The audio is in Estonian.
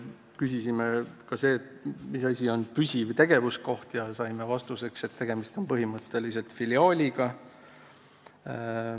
Küsisime, mis asi on püsiv tegevuskoht, ja saime vastuseks, et põhimõtteliselt on tegemist filiaaliga.